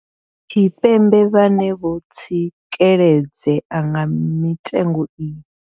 Tshipembe vhane vho tsikeledzea nga mitengo iyi.